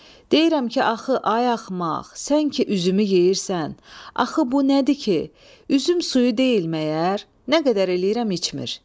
Deyirəm ki, axı ay axmaq, sən ki üzümü yeyirsən, axı bu nədir ki, üzüm suyu deyil məyər, nə qədər eləyirəm içmir.